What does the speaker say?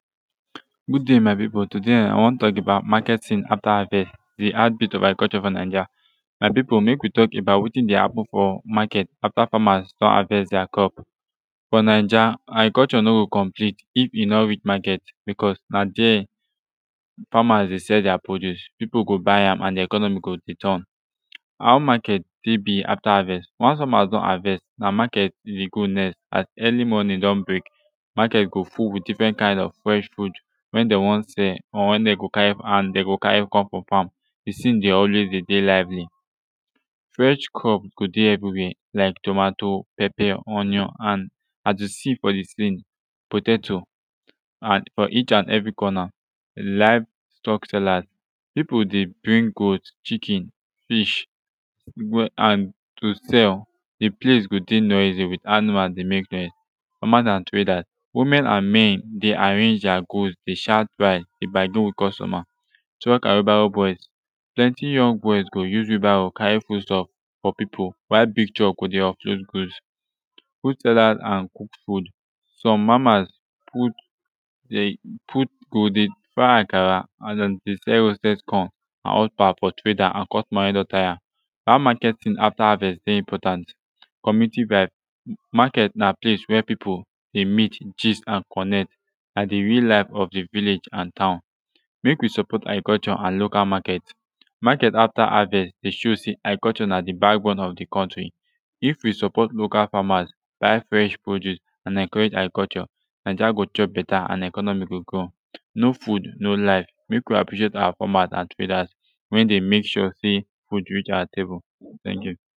good dai my pipu todai i wan tok about maketing afta havest de heartbeat of agriculture fo naija my pipu mek wi tok about wetin dey happen fo maket afta famas don havest dier crop fo naija agriculture no go complete if yu no reach maket becuz na dere famas dey sell dier produce pipu go buy am and de economy go de turn how maket tek bi afta havest once famas don havest na maket e dey go next as early morning don break maket go full wit difren kind of fresh food wen dem wan sell or wen dem go cari and de go cari com frum fam de scene dey always dey de lively fresh crop go de evri where lik tomato pepper onion and at de slim fo de siling potato and fo each and evri corner live stock sellers pipu dey bring goat chicken fish and to sell de place go dey noisy wit animal dey mek noise famas and traders women and men dey arrange dier goods dey shout buy de bargain wit customer truck and wheelbarrow boys plenti young boys go use wheelbarrow cari foodstuff fo pipu while big truck go de offload goods food sellers and cooked food som mamas food de put go de fry akara and dem dey sell roasted corn and hot pap fo trader and customer wey don tire how maketing afta havest dey important communiti vibe maket na place wey pipu dey meet gist and connect and de real life of de village and town mek wi support agriculture and local maket maket afta havest dey show sey agriculture na de bakbone of de kontri if wi support local famas buy fresh produce and encurage agriculture naija go chop beta and economy go grow no food no life mek wi appreciate our famas and traders wey dey mek sure sey food reach awa table teink yu